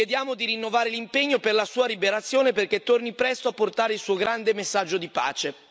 Chiediamo di rinnovare l'impegno per la sua liberazione perché torni presto a portare il suo grande messaggio di pace.